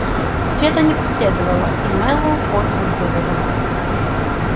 ответа не последовало и мэллоу поднял голову